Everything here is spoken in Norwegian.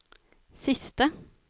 siste